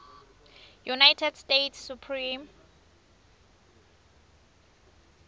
united states supreme